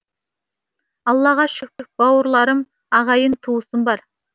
аллаға шүкір бауырларым ағайын туысым бар